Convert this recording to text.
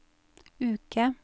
uke